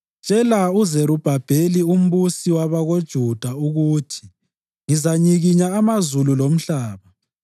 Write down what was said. “Tshela uZerubhabheli umbusi wakoJuda ukuthi ngizanyikinya amazulu lomhlaba.